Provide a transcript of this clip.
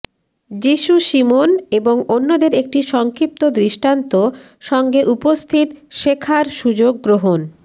যীশু শিমোন এবং অন্যদের একটি সংক্ষিপ্ত দৃষ্টান্ত সঙ্গে উপস্থিত শেখার সুযোগ গ্রহণ